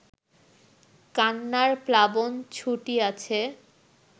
কান্নার প্লাবন ছুটিয়াছে